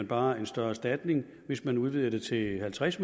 bare en større erstatning hvis man udvider det til halvtreds